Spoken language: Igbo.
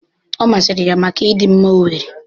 Ọ masịrị ya maka ịdị mma ọ nwere.